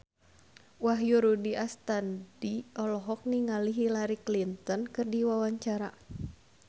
Wahyu Rudi Astadi olohok ningali Hillary Clinton keur diwawancara